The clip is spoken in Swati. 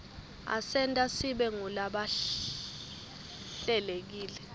asenta sibe ngulabahlelekile